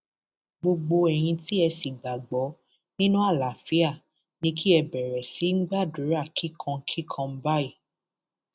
gbogbo ẹyin tí ẹ sì gbàgbọ nínú àlàáfíà ni kí ẹ bẹrẹ sí í gbàdúrà kíkan kíkan báyìí